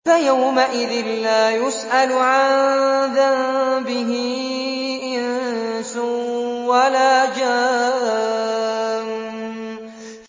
فَيَوْمَئِذٍ لَّا يُسْأَلُ عَن ذَنبِهِ إِنسٌ وَلَا جَانٌّ